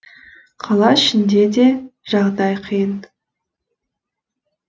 қала ішінде де жағдай қиын